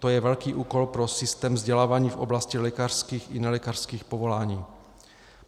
To je velký úkol pro systém vzdělávání v oblasti lékařských i nelékařských povolání.